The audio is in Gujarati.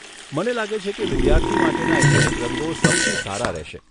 મને લાગે છે કે વિદ્યાર્થી માટેના એક્રિલિક રંગો સૌથી સારા રહેશે.